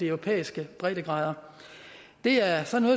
europæiske breddegrader det er sådan